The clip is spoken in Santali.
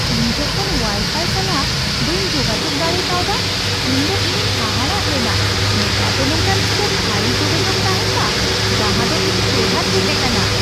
ᱤᱧ ᱡᱚᱠᱷᱚᱱ ᱳᱣᱟᱭᱼᱯᱷᱟᱭ ᱥᱟᱞᱟᱜ ᱵᱟᱹᱧ ᱡᱳᱜᱟᱡᱳᱠ ᱫᱟᱲᱮ ᱠᱟᱣᱫᱟ ᱩᱱᱫᱚ ᱤᱧᱤᱧ ᱦᱟᱦᱟᱲᱟᱜ ᱞᱮᱱᱟ ᱾ᱱᱮᱛᱟᱨ ᱫᱚ ᱱᱚᱝᱠᱟᱱ ᱢᱤᱫᱴᱟᱝ ᱛᱷᱟᱹᱭᱤ ᱡᱳᱜᱟᱡᱳᱜ ᱛᱟᱦᱮᱱ ᱢᱟ ᱡᱟᱦᱟᱸ ᱫᱚ ᱤᱧ ᱴᱮᱦᱟᱸᱴ ᱦᱮᱡ ᱟᱠᱟᱱᱟ ᱾